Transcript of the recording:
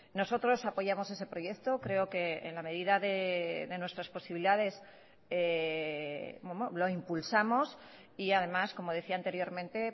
nosotros apoyamos ese proyecto creo que en la medida de nuestras posibilidades lo impulsamos y además como decía anteriormente